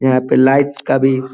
यहाँ पे लाइट का भी --